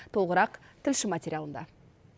толығырақ тілші материалында